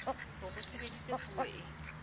hore ho sebediswe puo e